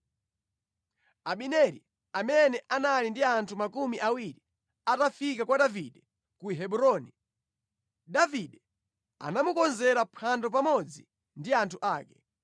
Abineri, amene anali ndi anthu makumi awiri, atafika kwa Davide ku Hebroni, Davide anamukonzera phwando pamodzi ndi anthu ake.